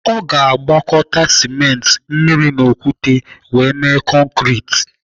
Ọ ga-agwakọta simenti, mmiri na okwute wee mee konkrit.